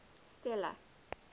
stella